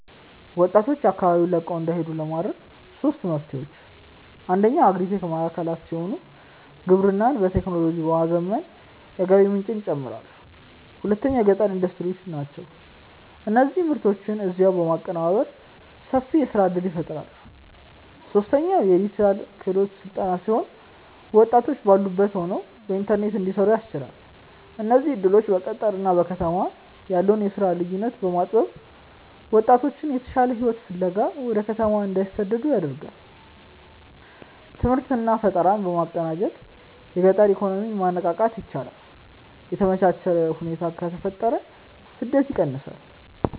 ወጣቶች አካባቢውን ለቀው እንዳይሄዱ ለማድረግ ሦስት መፍትሄዎች፦ አንደኛው አግሪ-ቴክ ማዕከላት ሲሆኑ፣ ግብርናን በቴክኖሎጂ በማዘመን የገቢ ምንጭን ይጨምራሉ። ሁለተኛው የገጠር ኢንዱስትሪዎች ናቸው፤ እነዚህ ምርቶችን እዚያው በማቀነባበር ሰፊ የሥራ ዕድል ይፈጥራሉ። ሦስተኛው የዲጂታል ክህሎት ሥልጠና ሲሆን፣ ወጣቶች ባሉበት ሆነው በኢንተርኔት እንዲሠሩ ያስችላል። እነዚህ ዕድሎች በገጠርና በከተማ ያለውን የሥራ ልዩነት በማጥበብ ወጣቶች የተሻለ ሕይወት ፍለጋ ወደ ከተማ እንዳይሰደዱ ያደርጋሉ። ትምህርትና ፈጠራን በማቀናጀት የገጠር ኢኮኖሚን ማነቃቃት ይቻላል። የተመቻቸ ሁኔታ ከተፈጠረ ስደት ይቀንሳል።